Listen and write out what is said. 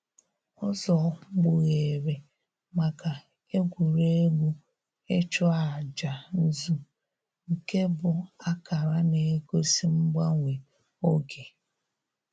Ụzọ gbughere maka egwuregwu ịchụ aja nzụ nke bụ akara na-egosi mgbanwe oge.